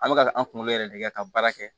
An bɛ ka an kungolo yɛrɛ de kɛ ka baara kɛ